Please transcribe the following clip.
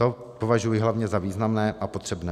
To považuji hlavně za významné a potřebné.